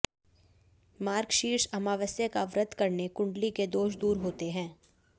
मार्गशीर्ष अमावस्या का व्रत करने कुंडली के दोष दूर होते हैं